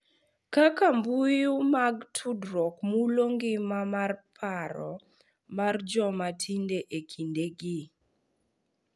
Kaka mbui mag tudruok mulo ngima mar paro mar joma tindo e kindegi